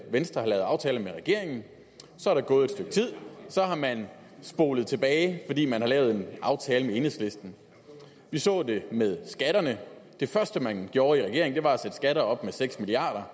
venstre har lavet aftaler med regeringen så er der gået et stykke tid og så har man spolet tilbage fordi man har lavet en aftale med enhedslisten vi så det med skatterne det første man gjorde i regeringen var at sætte skatterne op med seks milliard